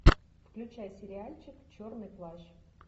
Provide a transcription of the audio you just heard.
включай сериальчик черный плащ